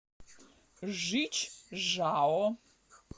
жичжао